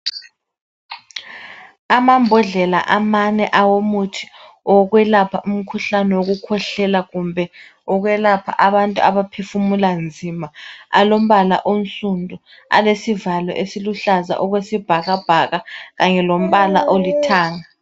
Amambodlela amane awomuthi wokwelapha umkhuhlane wokukhwehlela kumbe ukwelapha abantu abaphefumula nzima alombala onsundu alesivalo esiluhlaza okwesibhakabhaka kanye lombala olithanga.